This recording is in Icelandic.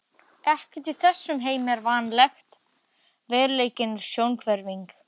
Ekkert í þessum heimi er varanlegt, veruleikinn er sjónhverfing.